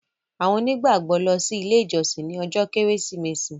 àwọn onígbàgbọ lọ si ile ijọsin ní ojó kérésìmesì.